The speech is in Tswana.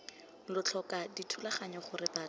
lo tlhoka dithulaganyo gore batho